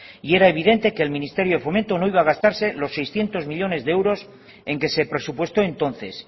y era evidente que el ministerio de fomento no iba a gastarse los seiscientos millónes de euros en que se presupuestó entonces